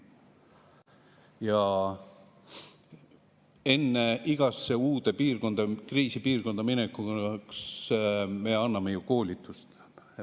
Ja enne igasse uude piirkonda, kriisipiirkonda minekut me teeme ju koolitusi, eks.